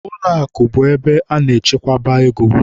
Ụlọakụ bụ ebe a na-echekwaba ego